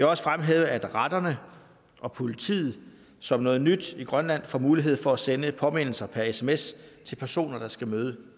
også fremhæve at retterne og politiet som noget nyt i grønland får mulighed for at sende påmindelser per sms til personer der skal møde